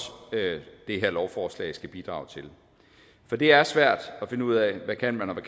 det her lovforslag skal bidrage til for det er svært at finde ud af hvad man kan